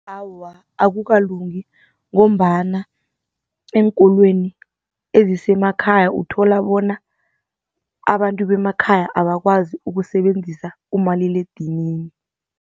Awa, akukalungi ngombana eenkolweni ezisemakhaya uthola bona abantu bemakhaya abakwazi ukusebenzisa umaliledinini.